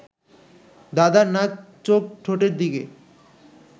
দাদার নাক চোখ ঠোঁটের দিকে